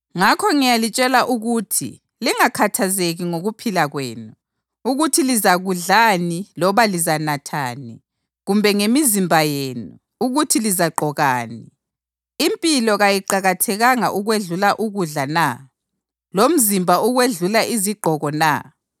“Ngakho ngiyalitshela ukuthi lingakhathazeki ngokuphila kwenu, ukuthi lizakudlani loba lizanathani; kumbe ngemizimba yenu, ukuthi lizagqokani. Impilo kayiqakathekanga ukwedlula ukudla na, lomzimba ukwedlula izigqoko na?